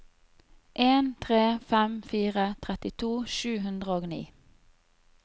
en tre fem fire trettito sju hundre og ni